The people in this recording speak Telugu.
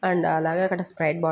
అండ్ అలాగే అక్కడ స్ప్రైట్ బాటిల్ --